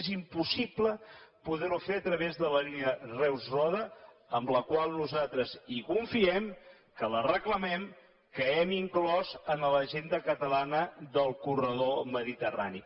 és impossible poder ho fer a través de la línia reus roda en la qual nosaltres confiem que la reclamem que hem inclòs en l’agenda catalana del corredor mediterrani